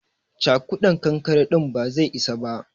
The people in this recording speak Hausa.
Cakudan kankare din ba zai isa ba.